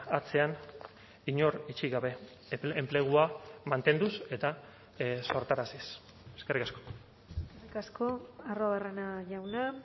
atzean inor utzi gabe enplegua mantenduz eta sortaraziz eskerrik asko eskerrik asko arruabarrena jauna